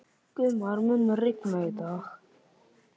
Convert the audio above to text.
Guðmar, mun rigna í dag?